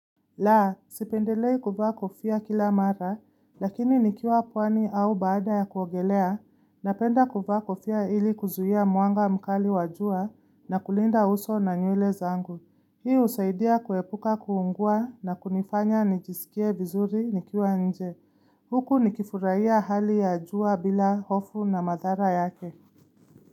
Laa, sipendelei kuvaa kufia kila mara, lakini nikiwa pwani au baada ya kuogelea, napenda kuvaa kofia ili kuzuia mwanga mkali wa jua na kulinda uso na nywele zangu. Hiu usaidia kuepuka kuungua na kunifanya nijisikie vizuri nikiwa nje. Huku nikifurahia hali ya jua bila hofu na madhara yake.